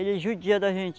Ele é judia da gente.